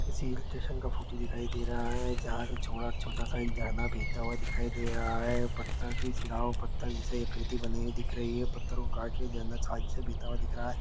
किसी hill station का photo दिखाई दे रहा है जहाँ से छोड़ा छोटा सा एक झरना बहता हुआ दिखाई दे रहा है पत्थर की शिलाओं पत्थर जैसी आकृति बनी हुई दिख रही है पत्थर को काट के झरना साइड से बहता हुआ दिख रहा है।